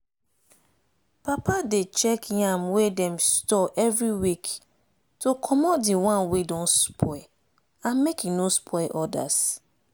papa dey check yam wey dem store every week to commot the one wey don spoil and make e no spoil others.